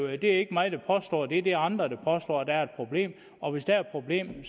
er ikke mig der påstår det det er andre der påstår at der er et problem og hvis der er et problem